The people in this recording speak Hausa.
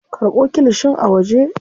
Karɓo kilishin a waje.